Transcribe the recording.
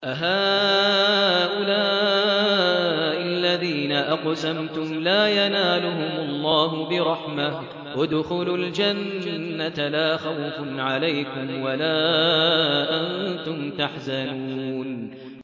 أَهَٰؤُلَاءِ الَّذِينَ أَقْسَمْتُمْ لَا يَنَالُهُمُ اللَّهُ بِرَحْمَةٍ ۚ ادْخُلُوا الْجَنَّةَ لَا خَوْفٌ عَلَيْكُمْ وَلَا أَنتُمْ تَحْزَنُونَ